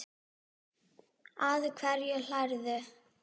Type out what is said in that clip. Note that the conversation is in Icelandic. Að hverju hlærðu?